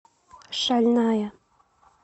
шальная